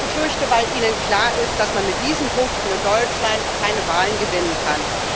Ich befürchte, weil Ihnen klar ist, dass man mit diesen Punkten in Deutschland keine Wahlen gewinnen kann.